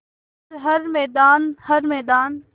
कर हर मैदान हर मैदान